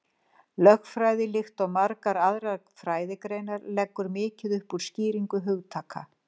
Lögfræði, líkt og margar aðrar fræðigreinar, leggur mikið upp úr skýringu hugtaka.